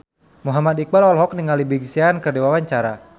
Muhammad Iqbal olohok ningali Big Sean keur diwawancara